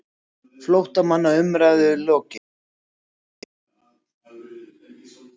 FLÓTTAMANNA UMRÆÐU LOKIÐ